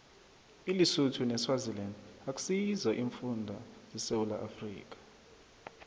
ilisotho neswaziland akusizo iimfunda zesewula afrika